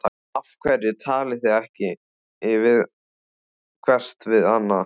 Af hverju talið þið ekki hvert við annað?